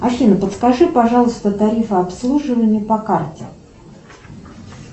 афина подскажи пожалуйста тарифы обслуживания по карте